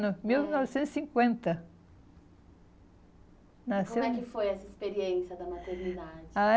Mil novecentos e cinquenta, nasceu. Como é que foi essa experiência da maternidade? Ah, é